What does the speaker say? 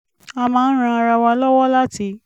a máa ń ran ara wa lọ́wọ́ láti